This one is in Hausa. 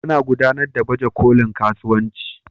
Ana gudanar da baje kolin kasuwanci.